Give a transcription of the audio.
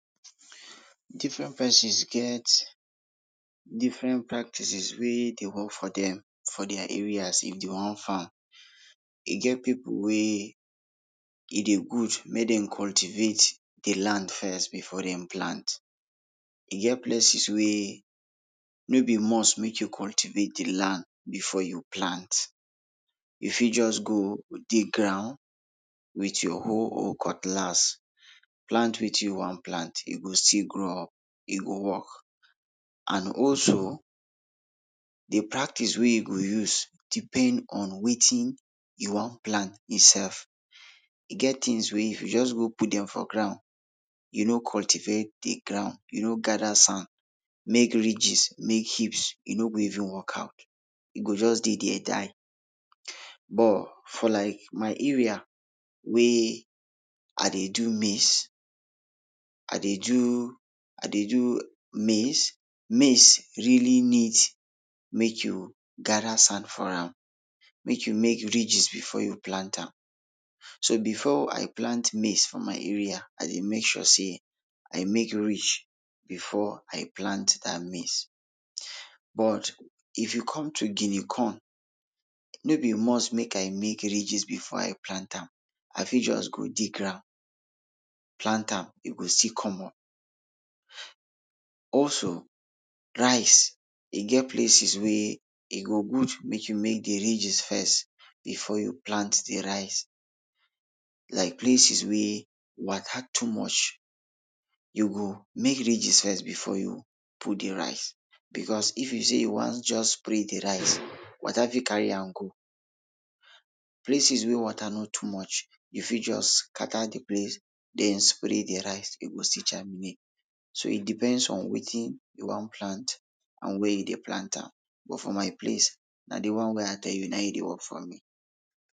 Difren pesins get difren practices wey dey work for dem for dia areas if dey wan farm. E get pipul wey e dey good make dem cultivate de land first before dem plant. E get places wey no be must make you cultivate de land before you plant. You fit just go dig ground with your hoe or cutlass, plant wetin you wan plant, e go still grow up, e go work. And also, de practice wey you go use depend on wetin you wan plant itself. E get tins wey if you just go put dem for ground, you no cultivate de ground, you no gada sand make ridges, make heaps, e no go even work out, e go just dey der die. But for like my area wey i dey do maize, ah dey do, ah dey do maize. Maize really need make you gada sand for am, make you make ridges before you plant am. So before I plant maize for my area I dey make sure sey I make ridge before I plant dat maize. But if you come to guinea corn, no be must make I make ridges before I plant am. I fit just go dig ground plant am, e go still come up. Also, rice, e get places wey e go good make you make de ridges first before you plant de rice, like places wey water too much, you go make ridges first before you put de rice because if you sey you wan just spray de rice, water fit carry am go. Places wey water no too much, you fit just scatter de place den spray de rice you go still germinate. So it depends on wetin you dey plant and wia you dey plant am. But for my place, na dey one wey I dey tell you na e dey work for me.